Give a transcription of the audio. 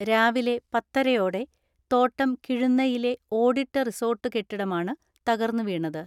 രാവിലെ പത്തരയോടെ തോട്ടം കിഴുന്നയിലെ ഓടിട്ട റിസോർട്ട് കെട്ടിടമാണ് തകർന്നുവീണത്.